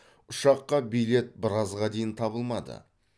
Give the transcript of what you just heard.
ұшаққа билет біразға дейін табылмады